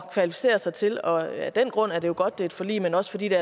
kvalificere sig til og af den grund er det jo godt at det er et forlig men også fordi det